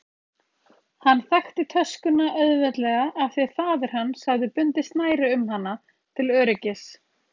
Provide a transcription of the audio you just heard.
Hann þekkti töskuna auðveldlega af því faðir hans hafði bundið snæri um hana til öryggis.